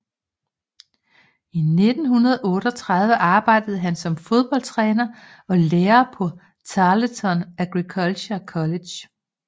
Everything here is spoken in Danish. I 1938 arbejdede han som fodboldtræner og lærer på Tarleton Agricultural College